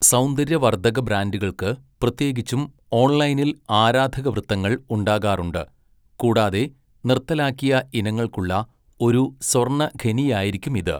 സൗന്ദര്യവർദ്ധക ബ്രാൻഡുകൾക്ക് പ്രത്യേകിച്ചും ഓൺലൈനിൽ ആരാധകവൃത്തങ്ങൾ ഉണ്ടാകാറുണ്ട്, കൂടാതെ നിർത്തലാക്കിയ ഇനങ്ങൾക്കുള്ള ഒരു സ്വർണ്ണഖനിയായിരിക്കുമിത്.